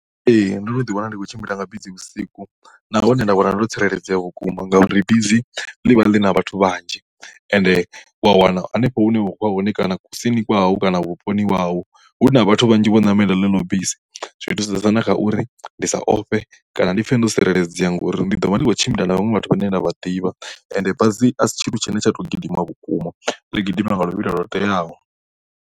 Ee ndo no ḓi wana ndi khou tshimbila nga bisi vhusiku na hone nda wana ndo tsireledzea vhukuma ngauri bisi ḽivha ḽi na vhathu vhanzhi ende wa wana hanefho hune wa khoya hone kana kusini kwahau kana vhuponi hahau hu na vhathu vhanzhi vho namelaho iḽo bisi zwithusesa na kha uri ndi sa ofhe kana ndi pfhe ndo tsireledzea ngauri ndi ḓo vha ndi khou tshimbila na vhaṅwe vhathu vhane vha ḓivha ende basi a si tshithu tshine tsha to gidima vhukuma ḽi gidima nga luvhilo lwo teaho.